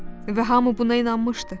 Və hamı buna inanmışdı.